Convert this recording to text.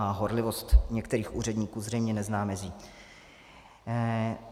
A horlivost některých úředníků zřejmě nezná mezí.